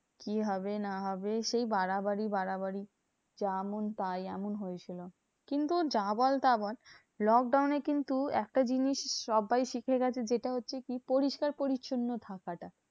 কি হবে না হবে? সেই বাড়াবাড়ি বাড়াবাড়ি। যেমন পাই এমন হয়েছিল। কিন্তু যা বল তা বল lockdown এ কিন্তু একটা জিনিস সব্বাই শিখে গেছে, যেটা হচ্ছে কি? পরিষ্কার পরিচ্ছন্ন থাকাটা।